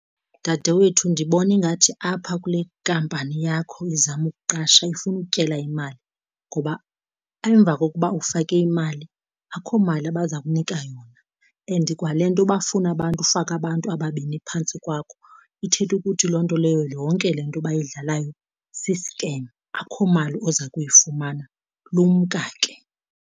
Dadewethu, ndibona ingathi apha kule nkampani yakho izama ukuqasha ifuna ukutyela imali ngoba emva kokuba ufake imali akho mali abaza kunika yona. And kwale nto bafuna abantu ufake abantu ababini phantsi kwakho ithetha ukuthi loo nto leyo yonke le nto abayidlalayo sisikem akho mali oza kuyifumana, lumka ke.